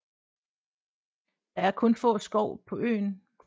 Der er kun få skov på øen